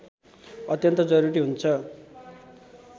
अत्यन्त जरुरी हुन्छ